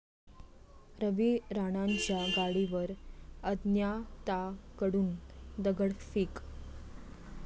रवी राणांच्या गाडीवर अज्ञाताकडून दगडफेक